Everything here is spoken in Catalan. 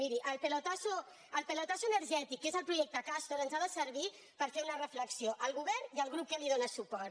miri el pelotasso energètic que és el projecte castor ens ha de servir per fer una reflexió al govern i al grup que li dóna suport